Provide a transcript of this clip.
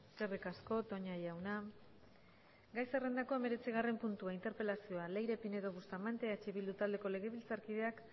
eskerrik asko toña jauna gai zerrendako hemeretzigarren puntua interpelazioa leire pinedo bustamante eh bildu taldeko legebiltzarkideak